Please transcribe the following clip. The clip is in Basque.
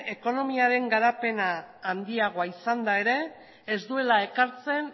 ekonomiaren garapena handiagoa izanda ere ez duela ekartzen